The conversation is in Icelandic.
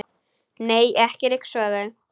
Nei, ekki ryksuga þau.